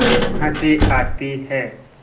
हँसी आती है